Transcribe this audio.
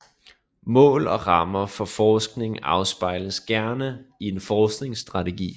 Mål og rammer for forskningen afspejles gerne i en forskningsstrategi